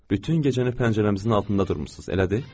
Bütün gecəni pəncərəmizin altında durmusunuz, elədir?